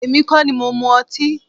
Èmi kọ́ ní mo mú ọtí